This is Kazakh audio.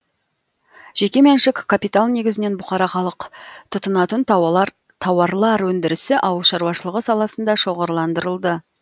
жеке меншік капитал негізінен бұқара халық тұтынатын тауарлар өндірісі ауыл шаруашылығы саласында шоғырландырылды